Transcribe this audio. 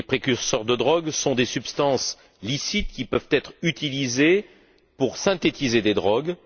Les précurseurs de drogues sont des substances licites qui peuvent être utilisées pour synthétiser des drogues.